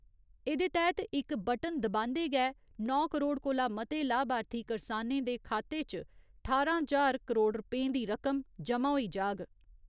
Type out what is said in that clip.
एहदे तैह्‌त इक बटन दबान्दे गै नौ करोड़ कोला मते लाभार्थी करसानें दे खातें च ठारां ज्हार करोड़ रपें दी रकम जमा होई जाग।